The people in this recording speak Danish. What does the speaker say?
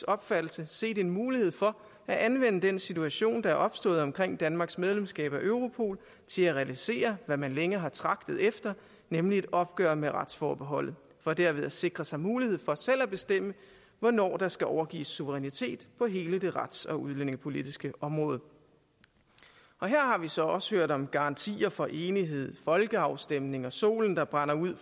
opfattelse set en mulighed for at anvende den situation der er opstået omkring danmarks medlemskab af europol til at realisere hvad man længe har tragtet efter nemlig et opgør med retsforbeholdet for derved at sikre sig mulighed for selv at bestemme hvornår der skal overgives suverænitet på hele det rets og udlændingepolitiske område her har vi så også hørt om garantier for enighed folkeafstemninger solen der brænder ud